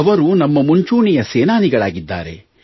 ಅವರು ನಮ್ಮ ಮುಂಚೂಣಿಯ ಸೇನಾನಿಗಳಾಗಿದ್ದಾರೆ